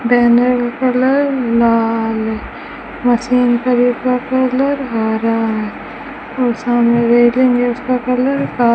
banner का colour लाल machine colour हरा है और सामने रेलिंग है उसका कलर का --